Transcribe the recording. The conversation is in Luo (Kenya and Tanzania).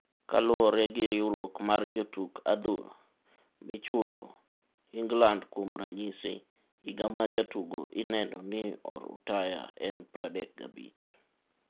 Kaluore gi riwruok mar jotuk adhul michulo Inglandkuom ranyisi, higa ma jatugo ineno ni orutaya en 35.